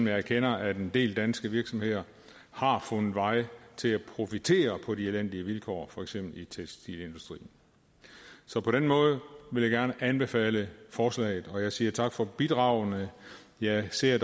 erkender at en del danske virksomheder har fundet vej til at profitere på de elendige vilkår for eksempel i tekstilindustrien så på den måde vil jeg gerne anbefale forslaget og jeg siger tak for bidragene jeg ser